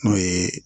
N'o ye